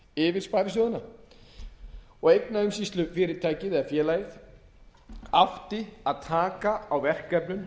yfir sparisjóðina og eignaumsýslufyrirtækið eða félagið átti að taka á verkefnum